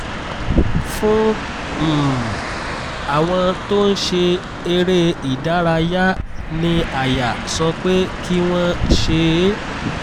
fún um àwọn tó ń ṣe eré ìdárayá ní àyà sọ pé kí wọ́n ṣe é